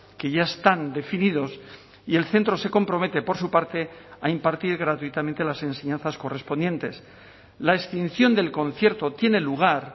que ya están definidos y el centro se compromete por su parte a impartir gratuitamente las enseñanzas correspondientes la extinción del concierto tiene lugar